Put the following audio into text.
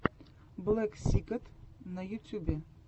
блэксикэт на ютьюбе